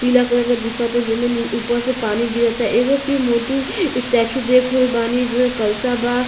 पीला कलर के दिखता जमे ऊपर से पानी गिरता एगो फिर मोटू स्टैचू देख रहल बानी जे में कलसा बा।